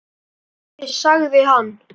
Loksins sagði hann.